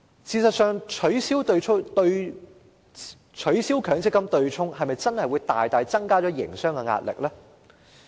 事實上，取消強積金對沖機制是否真的會大大增加營商壓力？